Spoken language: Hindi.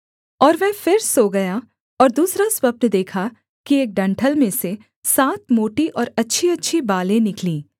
और वह फिर सो गया और दूसरा स्वप्न देखा कि एक डंठल में से सात मोटी और अच्छीअच्छी बालें निकलीं